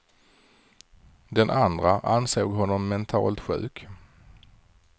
Den andra ansåg honom mentalt sjuk.